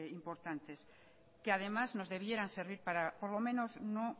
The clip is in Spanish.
importantes que además nos debieran servir para por lo menos no